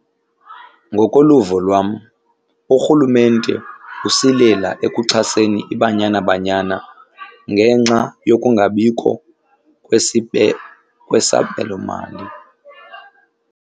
Ngokoluvo lwam urhulumente usilela ekuxhaseni iBanyana Banyana ngenxa yokungabikho kwesabelomali.